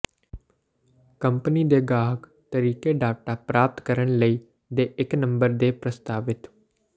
company ਦੇ ਗਾਹਕ ਤਰੀਕੇ ਡਾਟਾ ਪ੍ਰਾਪਤ ਕਰਨ ਲਈ ਦੇ ਇੱਕ ਨੰਬਰ ਦੇ ਪ੍ਰਸਤਾਵਿਤ